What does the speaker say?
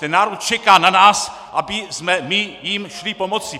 Ten národ čeká na nás, abychom my jim šli pomoci.